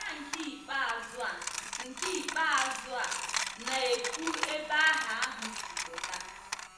Aha nke ikpeazụ a nke ikpeazụ a na-ekwu ebe aha ahụ si pụta